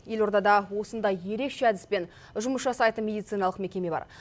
елордада осындай ерекше әдіспен жұмыс жасайтын медициналық мекеме бар